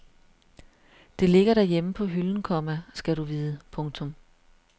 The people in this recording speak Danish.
Det ligger derhjemme på hylden, komma skal du vide. punktum